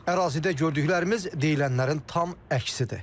Ərazidə gördüklərimiz deyilənlərin tam əksidir.